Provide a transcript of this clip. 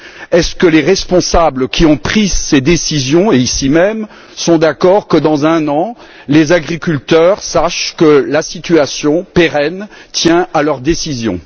Est ce que les responsables qui ont pris ces décisions ici même, sont d'accord que, dans un an, les agriculteurs sachent que la situation pérenne tient à leurs décisions?